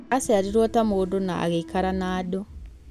Aciarirwo ta mũndũ na agĩikara na andũ.